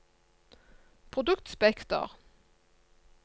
produktspekter